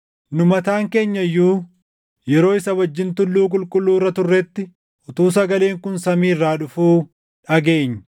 Nu mataan keenya iyyuu yeroo isa wajjin tulluu qulqulluu irra turretti, utuu sagaleen kun samii irraa dhufuu dhageenye.